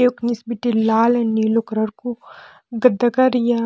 यख निस बिटि लाल नीलू कलर कू गद्दा कर या